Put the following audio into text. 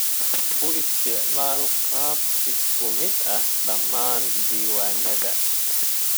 U isticmaal qaab isku mid ah dhammaan diiwaannada.